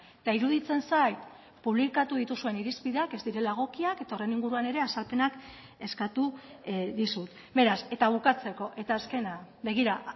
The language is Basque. eta iruditzen zait publikatu dituzuen irizpideak ez direla egokiak eta horren inguruan ere azalpenak eskatu dizut beraz eta bukatzeko eta azkena begira